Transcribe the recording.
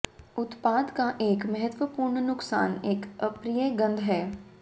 उत्पाद का एक महत्वपूर्ण नुकसान एक अप्रिय गंध है